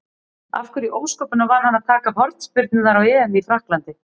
Af hverju í ósköpunum var hann að taka hornspyrnurnar á EM í Frakklandi?